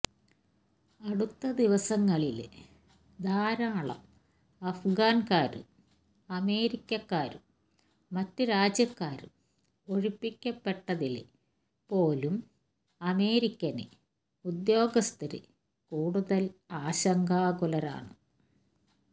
അടുത്ത ദിവസങ്ങളില് ധാരാളം അഫ്ഗാന്കാരും അമേരിക്കക്കാരും മറ്റ് രാജ്യക്കാരും ഒഴിപ്പിക്കപ്പെട്ടതില് പോലും അമേരിക്കന് ഉദ്യോഗസ്ഥര് കൂടുതല് ആശങ്കാകുലരാണ്